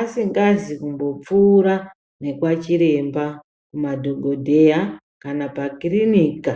asingazi kumbopfuura nekwachiremba kumadhogodheya kana pakirinika.